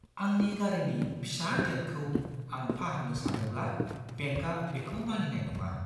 आंनि गारिनि फिसा डेन्टखौ आं फाहामनो सानोब्ला बेंकआ बेखौ मानिनाय नङा।